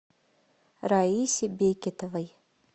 раисе бекетовой